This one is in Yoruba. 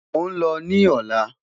Mo n lọ ni ọla.